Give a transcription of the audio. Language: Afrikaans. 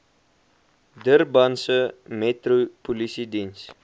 durbanse metro polisiediens